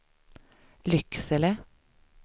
Lycksele